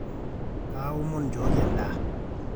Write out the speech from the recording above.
kaomon nchooki endaa